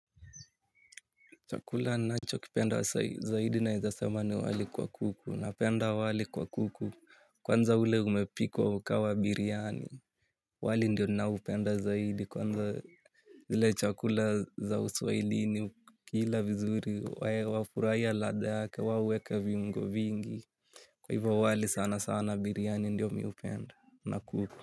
Chakula nachokipenda zaidi naeza sema ni wali kwa kuku napenda wali kwa kuku. Kwanza ule umepikwa ukawa biryani. Wali ndio ninaupenda zaidi kwanza. Zile chakula za uswahilini kila vizuri wae wafuraya lada ake waweka viungo vingi. Kwa hivo wali sana sana biryani ndiyo miupenda na kuku. Kwa hivyo.